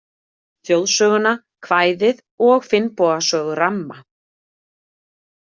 Þjóðsöguna, kvæðið og Finnboga sögu ramma.